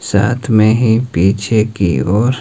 साथ में ही पीछे की ओर--